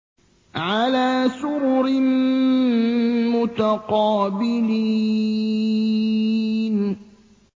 عَلَىٰ سُرُرٍ مُّتَقَابِلِينَ